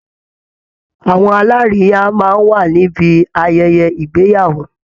Àwọn alárìíyá máa ń wà níbi ayẹyẹ ìgbeyàwó